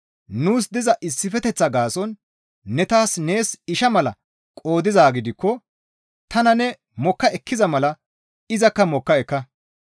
Nuus diza issifeteththaa gaason ne tana nees isha mala qoodizaa gidikko tana ne mokka ekkiza mala izakka mokka ekka.